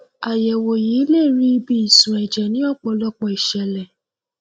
àyẹwò yìí lè rí ibi ìṣun ẹjẹ ní ọpọlọpọ ìṣẹlẹ